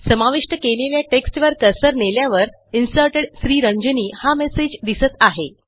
समाविष्ट केलेल्या टेक्स्टवर कर्सर नेल्यावर Inserted श्रीरंजनी हा मेसेज दिसत आहे